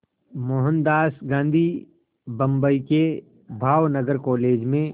मोहनदास गांधी बम्बई के भावनगर कॉलेज में